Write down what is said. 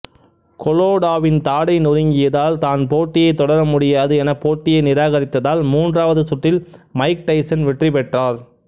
கொலோடாவின் தாடை நொறுங்கியதால் தான் போட்டியைத் தொடர முடியாது என போட்டியை நிராகரித்ததால் மூன்றாவது சுற்றில் மைக் டைசன் வெற்றிபெற்றார்